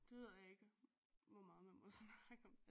Det ved jeg ikke hvor meget man må snakke om